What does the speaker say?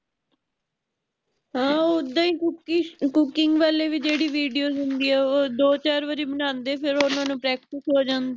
ਹਾਂ ਓਹਦਾ ਹੀ cookies cooking ਵਾਲੀ ਵੀ ਜੇਹੜੀ videos ਹੋਂਦੀ ਹੈ ਓਹ ਦੋ ਚਾਰ ਵਾਰੀ ਬਣਾਂਦੇ ਆ ਫੇਰ ਓਹ ਓਹਨਾਂ ਨੂੰ practice ਹੋ ਜਾਂਦੀ ਹੈ